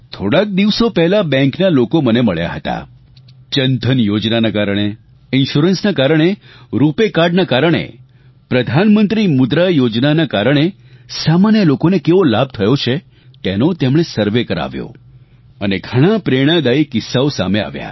થોડાંક દિવસો પહેલાં બેંકના લોકો મને મળ્યા હતા જનધન યોજનાના કારણે ઇન્શ્યોરન્સના કારણે રૂપાય કાર્ડ ના કારણે પ્રધાનમંત્રી મુદ્રા યોજનાના કારણે સામાન્ય લોકોને કેવો લાભ થયો છે તેનો તેમણે સર્વે કરાવ્યો અને ઘણાં પ્રેરણાદાયી કિસ્સાઓ સામે આવ્યા